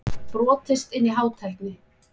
Brotist inn í Hátækni